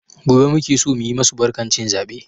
Gobe muke so mu yi masu barkan cin zabe.